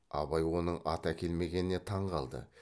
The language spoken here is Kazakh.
абай оның ат әкелмегеніне таң қалды